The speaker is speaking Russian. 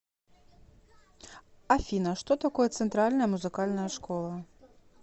афина что такое центральная музыкальная школа